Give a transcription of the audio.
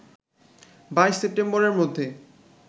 ২২ সেপ্টেম্বরের মধ্যে